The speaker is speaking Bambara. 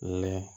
Lɛ